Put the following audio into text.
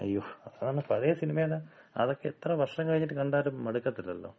അയ്യോ. അതാണ്. പഴയ സിനിമയെല്ലാം, അതക്ക എത്ര വർഷം കഴിഞ്ഞിട്ട് കണ്ടാലും മടുക്കത്തില്ലല്ലോ.